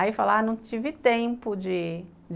Aí fala, não tive tempo de